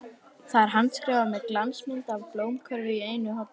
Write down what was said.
Það er handskrifað með glansmynd af blómakörfu í einu horninu.